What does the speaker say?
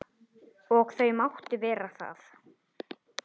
Og þau máttu vera það.